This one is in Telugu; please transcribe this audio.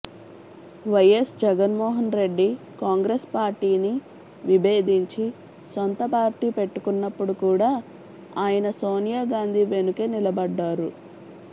వైఎస్ జగన్ మోహన్ రెడ్డి కాంగ్రెస్ పార్టీని విబేధించి సొంత పార్టీ పెట్టుకున్నప్పుడు కూడా ఆయన సోనియాగాంధీ వెనుకే నిలబడ్డారు